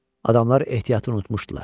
Adamlar ehtiyatı unutmuşdular.